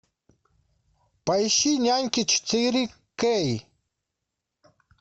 поищи няньки четыре кей